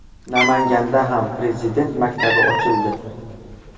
Namanganda ham Prezident maktabi ochildi .